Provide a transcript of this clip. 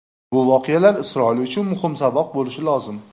Bu voqealar Isroil uchun muhim saboq bo‘lishi lozim.